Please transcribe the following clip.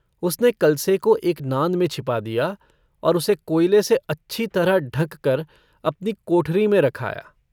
उसने कलसे को एक नाँद में छिपा दिया और उसे कोयले से अच्छी तरह ढंँक कर अपनी कोठरी में रख आया।